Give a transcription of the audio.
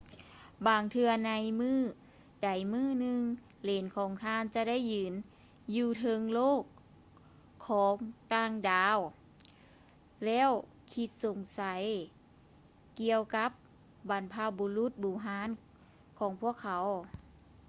ບາງເທື່ອໃນມື້ໃດມື້ໜຶ່ງ ເຫຼນຂອງທ່ານຈະໄດ້ຢືນຢູ່ເທິງໂລກຂອງຕ່າງດາວແລ້ວຄິດສົງໄສກ່ຽວກັບບັນພະບຸລຸດບູຮານຂອງພວກເຂົາ